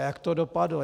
A jak to dopadlo?